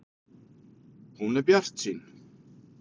Hún er bjartsýn.